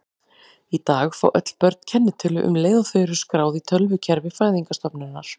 Í dag fá öll börn kennitölu um leið og þau eru skráð í tölvukerfi fæðingarstofnunar.